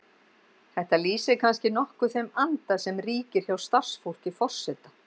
Þetta lýsir kannski nokkuð þeim anda sem ríkir hjá starfsfólki forseta.